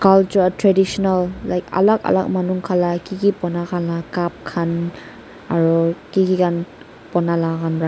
alak traditional like alak alak manu khan la kiki banakhan la cup khan aro kiki kan bonala khan pra.